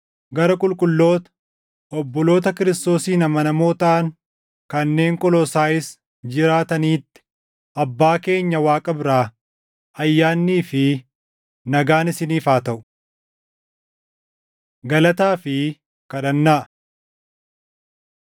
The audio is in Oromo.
Gara qulqulloota, obboloota Kiristoosiin amanamoo taʼan kanneen Qolosaayis jiraataniitti: Abbaa keenya Waaqa biraa ayyaannii fi nagaan isiniif haa taʼu. Galataa fi Kadhannaa